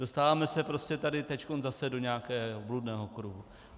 Dostáváme se prostě tady teď zase do nějakého bludného kruhu.